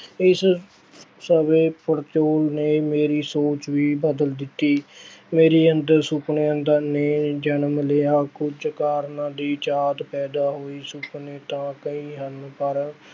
ਇਸ ਸਮੇਂ ਪੜਚੋਲ ਨੇ ਮੇਰੀ ਸੋਚ ਵੀ ਬਦਲ ਦਿੱਤੀ ਮੇਰੇ ਅੰਦਰ ਸੁਪਨਿਆਂ ਦਾ ਨੇ ਜਨਮ ਲਿਆ, ਕੁੱਝ ਕਰਨ ਦੀ ਚਾਹਤ ਪੈਦਾ ਹੋਈ, ਸੁਪਨੇ ਤਾਂ ਕਈ ਹਨ ਪਰ